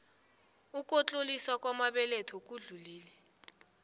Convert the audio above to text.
ukutloliswa kwamabeletho sekudlule